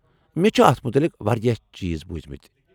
مےٚ چھِ اتھہ متعلق واریاہ چیز بوٗزِمٕتۍ ۔